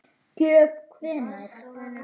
Gjöf hvenær?